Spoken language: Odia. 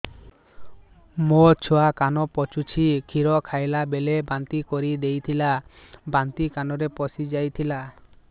ମୋ ଛୁଆ କାନ ପଚୁଛି କ୍ଷୀର ଖାଇଲାବେଳେ ବାନ୍ତି କରି ଦେଇଥିଲା ବାନ୍ତି କାନରେ ପଶିଯାଇ ଥିଲା